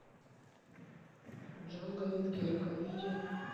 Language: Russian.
джанго венгерка видео